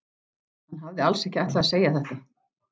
Hann hafði alls ekki ætlað að segja þetta.